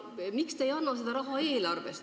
Miks te ei anna seda raha eelarvest?